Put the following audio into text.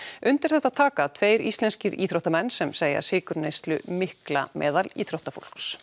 undir þetta taka tveir íslenskir íþróttamenn sem segja sykurneyslu mikla meðal íþróttafólks